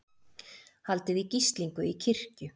Haldið í gíslingu í kirkju